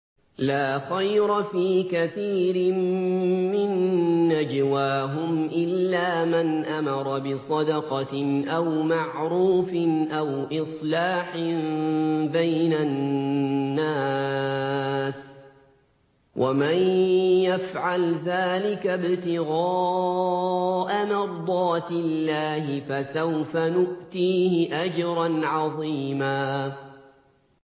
۞ لَّا خَيْرَ فِي كَثِيرٍ مِّن نَّجْوَاهُمْ إِلَّا مَنْ أَمَرَ بِصَدَقَةٍ أَوْ مَعْرُوفٍ أَوْ إِصْلَاحٍ بَيْنَ النَّاسِ ۚ وَمَن يَفْعَلْ ذَٰلِكَ ابْتِغَاءَ مَرْضَاتِ اللَّهِ فَسَوْفَ نُؤْتِيهِ أَجْرًا عَظِيمًا